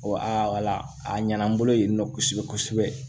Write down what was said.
wala a ɲɛna n bolo yen nɔ kosɛbɛ kosɛbɛ